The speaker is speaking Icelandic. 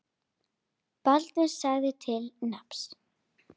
Baldvin sagði til nafns.